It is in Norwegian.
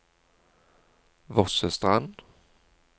Vossestrand